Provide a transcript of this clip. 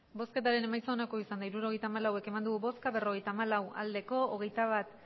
hirurogeita hamalau eman dugu bozka berrogeita hamalau bai hogeita bat